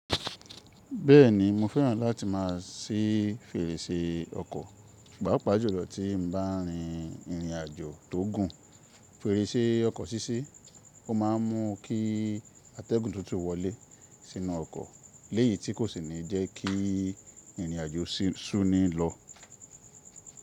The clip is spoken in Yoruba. Bẹ́ẹ̀ni, mo fẹ́ràn láti má a sí fèrèsè ọkọ̀, pàápàá jùlọ tí n bá rìn ìrìnàjò tó gùn. Fèrèsè ọkọ̀ ṣíṣi, ó má a mún kí atẹ́gùn tuntun wọlé sínú ọkọ̀, léyìí tí kò sì ní jẹ́ kí ìrìnàjò súnni lọ.